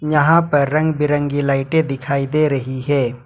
यहां पे रंग बिरंगी लाइटें दिखाई दे रही है।